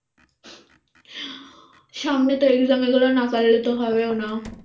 সামনে তো exam এগুলো না পারলে তো হবেও না